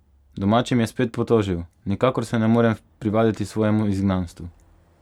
Domačim je spet potožil: " Nikakor se ne morem privaditi svojemu izgnanstvu.